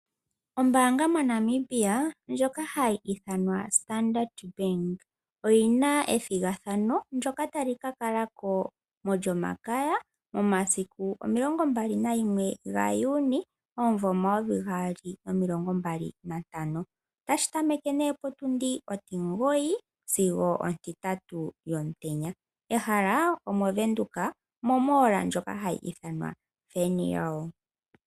Ombaanga moNamibia ndjoka hayi ithanwa Standard Bank oyi na ethigathano, ndyoka tali ka kala ko mOlyomakaya momasiku 21 Juni 2025. Otashi tameke potundi ontimugoyi sigo ondatu yomutenya, ehala omOvenduka mehala lyomalandithilo ndjoka hayi ithanwa Wernhil.